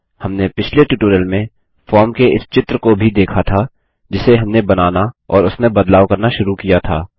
हमने पिछले ट्यूटोरियल में फॉर्म के इस चित्र को भी देखा था जिसे हमने बनाना और उसमें बदलाव करना शुरू किया था